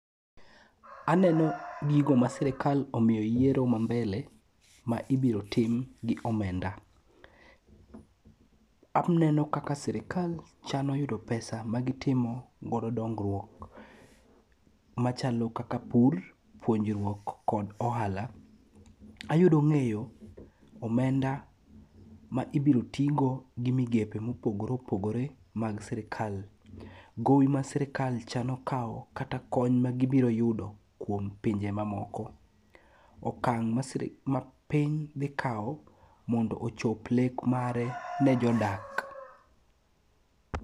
Aneno gigo ma sirikal omiyo yiero ma mbele ma ibiro tim gi omenda. Aneno kaka sirikal chano yudo pesa ma gitimo godo dongruok machalo kaka pur, puonjruok kod ohala. Ayudo ng'eyo omenda ma ibiro tigo gi migepe mopogore opogore mag sirikal. Gowi ma sirikal chano kawo kata kony ma gibiro yudo kuom pinje mamoko. Okang' ma piny dhi kawo mondo ochop lek mare ne jodak.